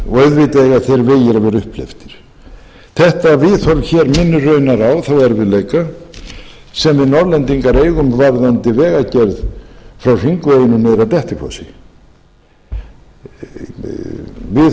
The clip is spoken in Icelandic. og auðvitað eiga þeir vegir að vera upphleyptir þetta viðhorf minnir raunar á þá erfiðleika sem við norðlendingar eigum í varðandi vegagerð frá hringveginum niður að dettifossi við